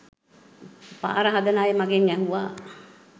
පාර හදන අය මගෙන් ඇහුවා